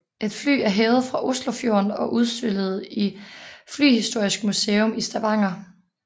Et fly er hævet fra Oslofjorden og udstillet i Flyhistorisk Museum i Stavanger